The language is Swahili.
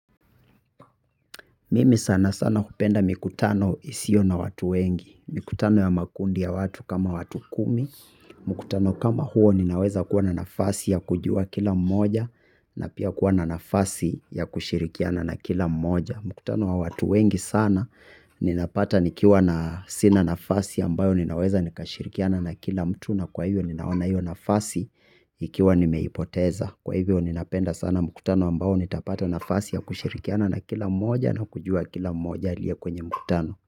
Mimi sana sana hupenda mikutano isiyo na watu wengi. Mikutano ya makundi ya watu kama watu kumi. Mkutano kama huo ninaweza kuwa na nafasi ya kujua kila mmoja na pia kuwa na nafasi ya kushirikiana na kila mmoja. Mkutano wa watu wengi sana. Ninapata nikiwa na sina nafasi ambayo ninaweza nikashirikiana na kila mtu. Na kwa hivyo ninaona hio nafasi. Ikiwa nimeipoteza kwa hivyo ninapenda sana mkutano ambao nitapata nafasi ya kushirikiana na kila mmoja na kujua kila mmoja aliye kwenye mkutano.